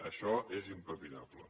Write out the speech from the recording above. això és impepinable